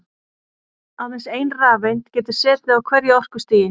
Aðeins ein rafeind getur setið á hverju orkustigi.